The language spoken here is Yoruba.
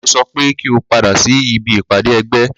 Mo sọ pé kí o padà sí ibi ìpàdé ẹgbẹ́!